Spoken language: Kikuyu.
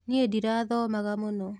Nĩĩ ndirathomaga mũno